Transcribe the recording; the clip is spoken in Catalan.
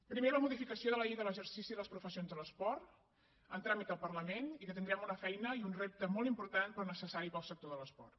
primer la modificació de la llei de l’exercici de les professions de l’esport en tràmit al parlament i que hi tindrem una feina i un repte molt important però necessari per al sector de l’esport